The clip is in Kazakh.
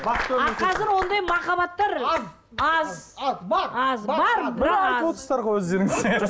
а қазір ондай махаббаттар аз аз бар аз бар бірақ аз өздеріңіз